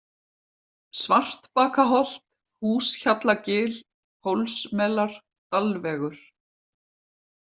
Svartbakaholt, Húshjallagil, Hólsmelar, Dalvegur